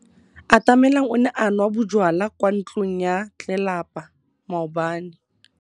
Atamelang o ne a nwa bojwala kwa ntlong ya tlelapa maobane.